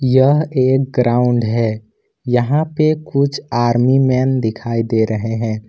यह एक ग्राउंड है यहां पे कुछ आर्मी मैन दिखाई दे रहे हैं।